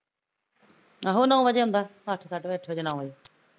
ਆਹੋ ਨੋਂ ਵਜੇ ਆਉਂਦਾ ਅੱਠ ਸਾਢੇ ਅੱਠ ਵਜੇ ਨੋਂ ਵਜੇ